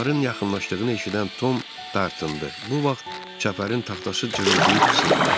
Onların yaxınlaşdığını eşidən Tom dartındı, bu vaxt çəpərin taxtası cırıldayıb sındı.